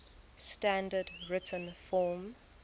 standard written form